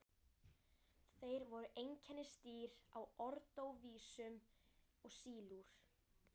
Þeir voru einkennisdýr á ordóvísíum og sílúr.